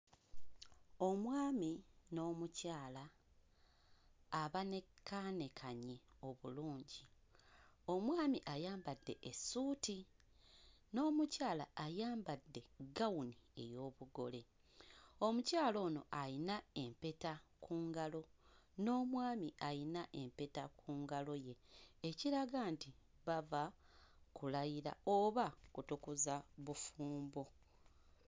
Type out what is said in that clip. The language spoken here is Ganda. Omwami n'omukyala abanekaanekanye obulungi omwami ayambadde essuuti n'omukyala ayambadde ggawuni ey'obugole omukyala ono ayina empeta ku ngalo n'omwami ayina empeta ku ngalo ye ekiraga nti bava kulayira oba kutukuza bufumbo.